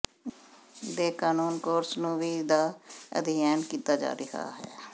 ਦੇ ਕਾਨੂੰਨ ਕੋਰਸ ਨੂੰ ਵੀ ਦਾ ਅਧਿਐਨ ਕੀਤਾ ਜਾ ਰਿਹਾ ਹੈ